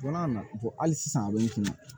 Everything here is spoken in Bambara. Don n'a na hali sisan a bɛ nɛ